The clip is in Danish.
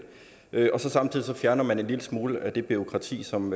samtidig fjerner man en lille smule af det bureaukrati som